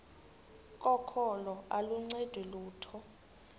kokholo aluncedi lutho